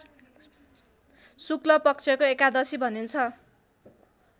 शुक्लपक्षको एकादशी भनिन्छ